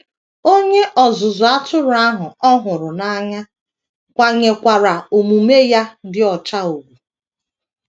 Onye ọzụzụ atụrụ ahụ ọ hụrụ n’anya kwanyekwaara omume ya dị ọcha ùgwù.